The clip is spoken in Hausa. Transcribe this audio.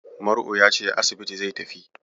Mar'u ya ce asibiti zai tafi.